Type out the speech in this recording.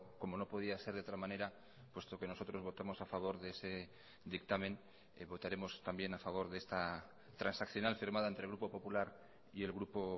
como no podía ser de otra manera puesto que nosotros votamos a favor de ese dictamen votaremos también a favor de esta transaccional firmada entre el grupo popular y el grupo